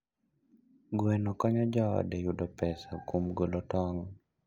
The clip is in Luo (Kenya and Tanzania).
Gweno konyo joode yudo pesa kuom golo tong'.